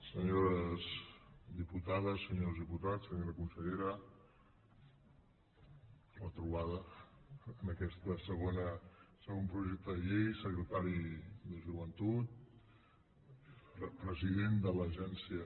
senyores diputades senyors diputats senyora consellera retrobada en aquest segon projecte de llei secretari de joventut president de l’agència